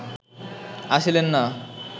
আসিলেন না